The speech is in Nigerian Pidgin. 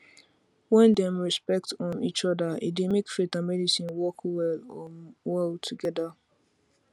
when dem respect um each other e dey make faith and medicine work well um well together